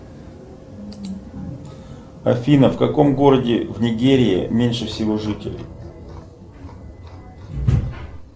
афина в каком городе в нигерии меньше всего жителей